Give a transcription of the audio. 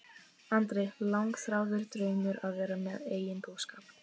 Andri: Langþráður draumur að vera með eigin búskap?